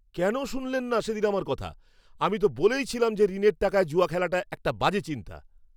কেন শুনলেন না সেদিন আমার কথা? আমি তো বলেই ছিলাম যে ঋণের টাকায় জুয়া খেলাটা একটা বাজে চিন্তা।